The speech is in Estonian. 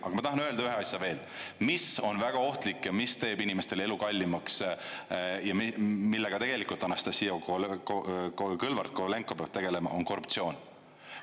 Aga ma tahan öelda ühe asja veel, mis on väga ohtlik ja mis teeb inimestele elu kallimaks ja millega tegelikult Anastassia Kõlvart-Kovalenko peab tegelema, on korruptsioon.